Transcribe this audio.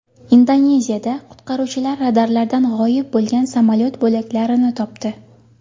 Indoneziyada qutqaruvchilar radarlardan g‘oyib bo‘lgan samolyot bo‘laklarini topdi.